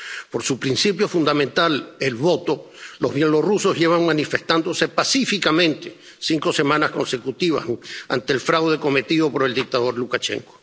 Por su principio fundamental —el voto—, los bielorrusos llevan manifestándose pacíficamente cinco semanas consecutivas ante el fraude cometido por el dictador Lukashenko.